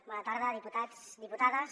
bona tarda diputats diputades